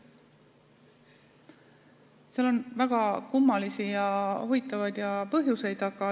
Sellel on väga kummalisi ja huvitavaid põhjuseid.